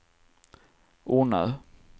Ornö